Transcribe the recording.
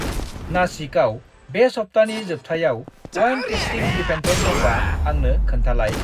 नासिकाव बे सप्तानि जोबथायाव उवाइन टेस्तिं इभेन्टफोर दंबा आंनो खोनथालाय।